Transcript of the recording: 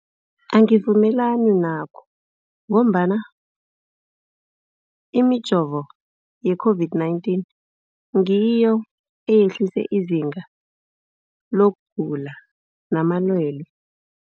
Angivumelani nakho, ngombana imijovo ye-COVID-19 ngiyo eyehlise izinga lokugula namalwele.